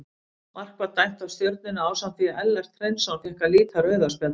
Mark var dæmt af Stjörnunni ásamt því að Ellert Hreinsson fékk að líta rauða spjaldið.